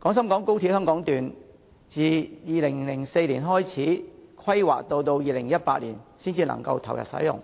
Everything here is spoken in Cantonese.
廣深港高鐵香港段自2004年開始規劃，直至2018年才可投入使用，